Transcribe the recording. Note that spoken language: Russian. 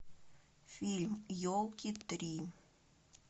фильм елки три